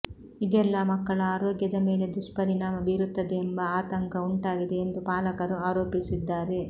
ಇದೆಲ್ಲ ಮಕ್ಕಳ ಆರೋಗ್ಯದ ಮೇಲೆ ದುಷ್ಪರಿಣಾಮ ಬೀರುತ್ತದೆಂಬ ಆತಂಕ ಉಂಟಾಗಿದೆ ಎಂದು ಪಾಲಕರು ಆರೋಪಿಸಿದ್ದಾರೆ